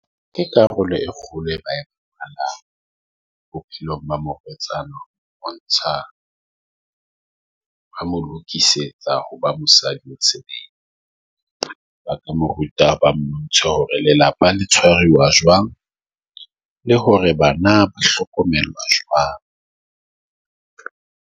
Ke karolo e kgolo e ba bophelong ba morwetsana. Bontsha re mo lokisetsa ho ba mosadi mosebetsi ba ka mo ruta ba mmuso hore lelapa la tshwariwa jwang, le hore bana ba hlokomela jwang.